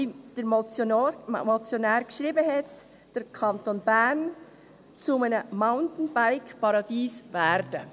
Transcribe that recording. Da kann, wie der Motionär geschrieben hat, der Kanton Bern zu einem Mountainbike-Paradies werden.